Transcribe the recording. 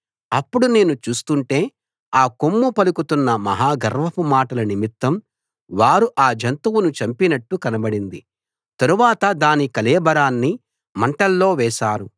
అప్పుడు నేను చూస్తుంటే ఆ కొమ్ము పలుకుతున్న మహా గర్వపు మాటల నిమిత్తం వారు ఆ జంతువును చంపినట్టు కనబడింది తరువాత దాని కళేబరాన్ని మంటల్లో వేశారు